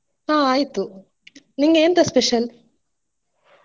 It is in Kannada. ಹಾ ಆಯ್ತು ನಿನ್ಗೆ ಎಂತ special ?